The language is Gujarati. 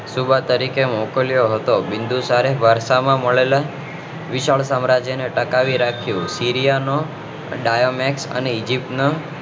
સુબાહ તરીકે મોકલ્યો હતો બીન્દુસારે વર્ષા માં મળેલ વિશાળ સામ્રાજ્ય ને ટકાવી રાખ્યું તીર્યા નો દયામેન્ત અને ઈજીપ્ત નો